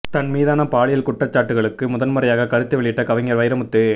தன் மீதான பாலியல் குற்றச்சாட்டுகளுக்கு முதன்முறையாக கருத்து வெளியிட்ட கவிஞர் வைரமுத்து